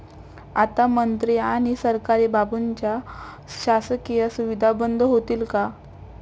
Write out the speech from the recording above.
आता मंत्री आणि सरकारी बाबूंच्या शासकीय सुविधा बंद होतील का?